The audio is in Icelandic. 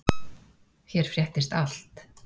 Hér fréttist allt.